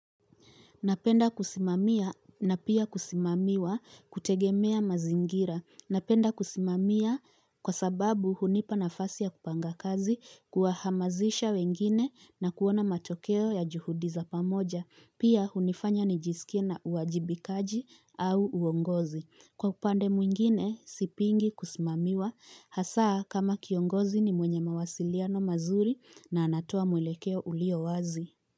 Napenda kusimamia na pia kusimamiwa kutegemea mazingira. Napenda kusimamia kwa sababu hunipa nafasi ya kupanga kazi kuwahamazisha wengine na kuona matokeo ya juhudi za pamoja. Pia hunifanya nijisikie na uwajibikaji au uongozi. Kwa upande mwingine, sipingi kusimamiwa. Hasaa kama kiongozi ni mwenye mawasiliano mazuri na anatoa mwelekeo ulio wazi.